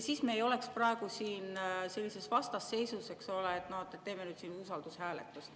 Siis me ei oleks praegu siin sellises vastasseisus, eks ole, et teeme nüüd siin usaldushääletust.